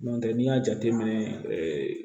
N'o tɛ n'i y'a jateminɛ